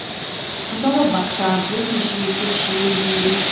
мысалы бақша бөлмеше текше дегендей